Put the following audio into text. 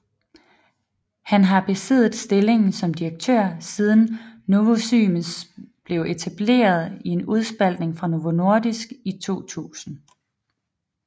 Han har besiddet stillingen som direktør siden Novozymes blev etableret i en udspaltning fra Novo Nordisk i 2000